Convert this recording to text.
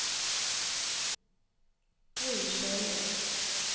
Gry Sjølie